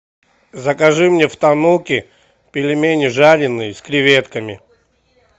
закажи мне в тануки пельмени жареные с креветками